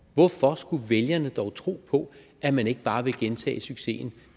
hvorfor skulle vælgerne dog tro på at man ikke bare vil gentage succesen